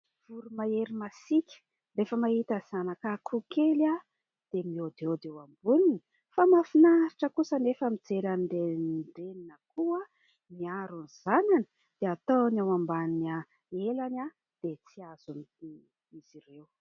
Voromahery masiaka. Rehefa mahita zanaka akoho kely dia mihaodihaody eo amboniny. Fa mahafinaritra kosa anefa ny mijery an'ireny reny akoho miaro ny zanany, dia ataony ao ambany elany dia tsy azony akory izy ireo.